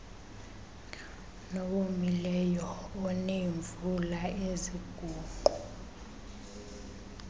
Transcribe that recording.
nowomileyo oneemvula eziguqu